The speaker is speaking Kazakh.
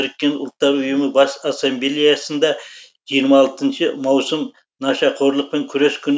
біріккен ұлттар ұйымы бас ассамблеясында жиырма алтыншы маусым нашақорлықпен күрес күні